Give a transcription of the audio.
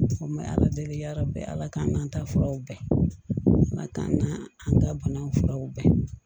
Ma ala deli ala bɛɛ ala k'an k'an ta furaw bɛɛ ala k'an k'an an ka banaw furaw bɛɛ